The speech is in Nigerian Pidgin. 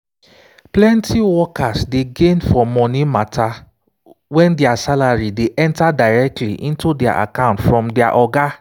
plenty workers dey gain for money matter when their salary dey enter directly into their account from their oga.